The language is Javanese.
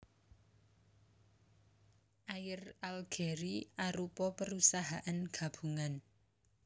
Air Algérie arupa perusahaan gabungan